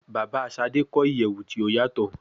Baba Sade kọ iyẹwu ti o yatọ